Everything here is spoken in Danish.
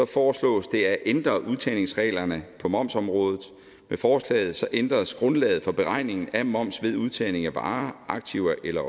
foreslås det at ændre udtagningsreglerne på momsområdet med forslaget ændres grundlaget for beregningen af moms ved udtagning af varer aktiver eller